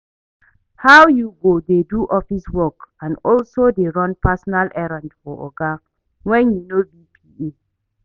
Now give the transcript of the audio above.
How you go dey do office work and also dey run personal errand for oga when you no be PA